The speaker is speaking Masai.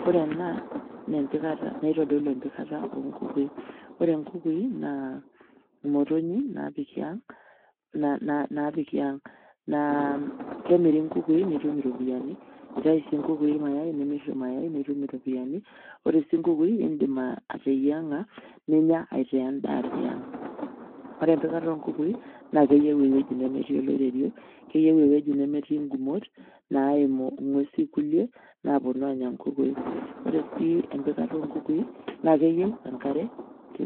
Kore ena naa empikata nitodolu empikata o nkukui, ore nkukui naa motonyik naapiki aang' na na naapiki aang' naa kemiri nkukui nitum iropiani, itayu sii nkukui irmayai nimir irmayai nitum iropiani, ore sii nkukui iindim ateyiang'a ninya itaa endaa tiang' . Ore empikata o nkukui naake eyeu ewueji nemetii oloirerio, keyeu ewueji nemetii ng'umot naimu ng'uesi kuliek naaponu aanya nkukui. Ore sii empikata o nkukui naake eyeu enkare